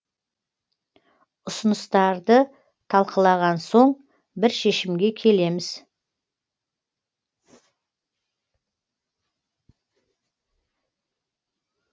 ұсыныстарды талқылаған соң бір шешімге келеміз